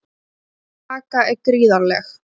Pressan á Kaka er gríðarleg.